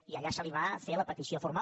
i allà se li va fer la petició formal